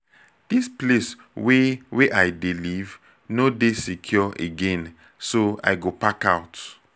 dis place wey wey i dey live no dey secure again so i go park out